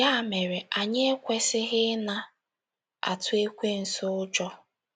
Ya mere, anyị ekwesịghị ịna - atụ Ekwensu ụjọ.